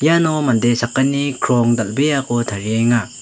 iano mande sakgni krong dal·beako tarienga.